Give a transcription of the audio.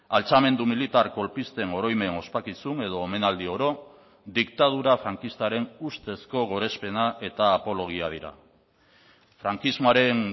altxamendu militar kolpisten oroimen ospakizun edo omenaldi oro diktadura frankistaren ustezko gorespena eta apologia dira frankismoaren